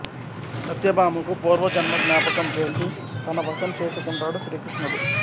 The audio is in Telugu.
సత్యభామకు పూర్వజన్న జ్ఞాపకం చేసి తనవశం చేసుకుంటాడు శ్రీ కృష్ణుడు